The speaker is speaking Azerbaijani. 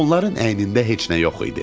Onların əynində heç nə yox idi.